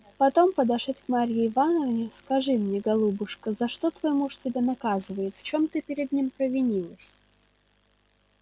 потом подошед к марье ивановне скажи мне голубушка за что твой муж тебя наказывает в чем ты перед ним провинилась